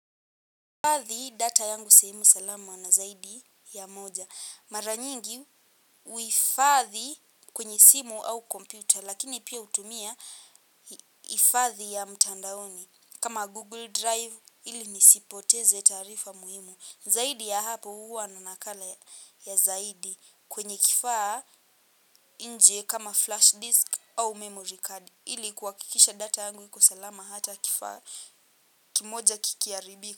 Ifadhi data yangu sehemu salama na zaidi ya moja. Maranyingi uifadhi kwenye simu au kompyuta. Lakini pia hutumia ifadhi ya mtandaoni. Kama Google Drive ili nisipoteze taarifa muhimu. Zaidi ya hapo huwa na nakala ya zaidi kwenye kifaa inje kama flash disk au memory card. Ili kuwakikisha data yangu kuwa salama hata kifaa kimoja kikiharibika.